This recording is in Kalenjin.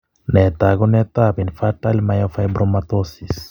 Nee taakunetaab infantile myofibromatosis?